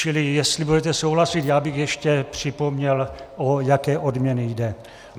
Čili jestli budete souhlasit, já bych ještě připomněl, o jaké odměny jde.